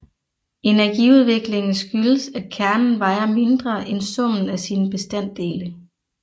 Energiudviklingen skyldes at kernen vejer mindre end summen af sine bestanddele